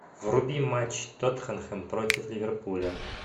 вруби матч тоттенхэм против ливерпуля